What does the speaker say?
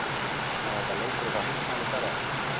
Er þetta leikrit á heimsmælikvarða?